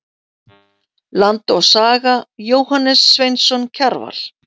Land og saga- Jóhannes Sveinsson Kjarval.